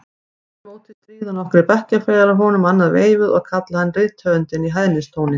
Aftur á móti stríða nokkrir bekkjarfélagar honum annað veifið og kalla hann rithöfundinn í hæðnistóni.